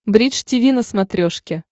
бридж тиви на смотрешке